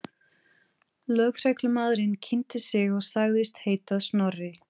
Lögreglumaðurinn kynnti sig og sagðist heita Snorri.